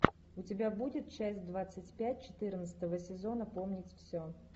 у тебя будет часть двадцать пять четырнадцатого сезона помнить все